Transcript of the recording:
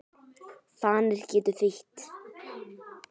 Fanir getur þýtt